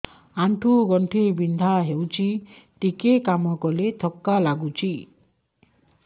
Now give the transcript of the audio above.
ଆଣ୍ଠୁ ଗଣ୍ଠି ବିନ୍ଧା ହେଉଛି ଟିକେ କାମ କଲେ ଥକ୍କା ଲାଗୁଚି